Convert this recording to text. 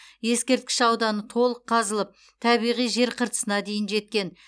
ескерткіш ауданы толық қазылып табиғи жер қыртысына дейін жеткен